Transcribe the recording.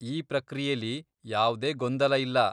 ಈ ಪ್ರಕ್ರಿಯೆಲಿ ಯಾವ್ದೇ ಗೊಂದಲ ಇಲ್ಲ.